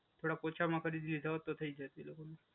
થોડાક ઓછામાં કરી દીધા હોત તો થઈ જતું એ લોકોનું.